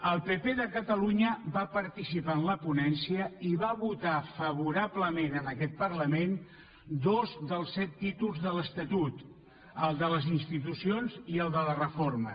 el pp de catalunya va participar en la ponència i va votar favorablement en aquest parlament dos dels set títols de l’estatut el de les institucions i el de la reforma